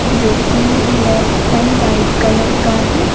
जो की black and white colour का है।